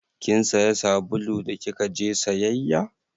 Kin saya sabulu da kika je sayayya?